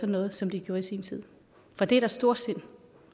noget som de gjorde i sin tid for det er da storsind